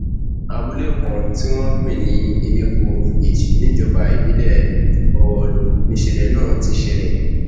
abúlé kan tí wọn ń pè ní elépo village níjọba ìbílẹ ọrọlù níṣẹlẹ náà ti ṣẹlẹ